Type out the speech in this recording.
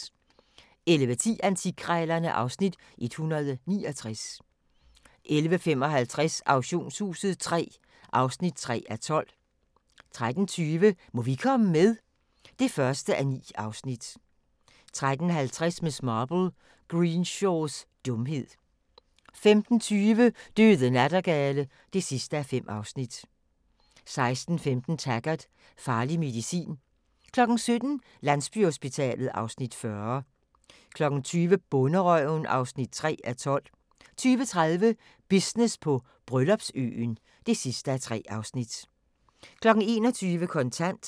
11:10: Antikkrejlerne (Afs. 169) 11:55: Auktionshuset III (3:12) 13:20: Må vi komme med? (1:9) 13:50: Miss Marple: Greenshaws dumhed 15:20: Døde nattergale (5:5) 16:15: Taggart: Farlig medicin 17:00: Landsbyhospitalet (Afs. 40) 20:00: Bonderøven (3:12) 20:30: Business på Bryllupsøen (3:3) 21:00: Kontant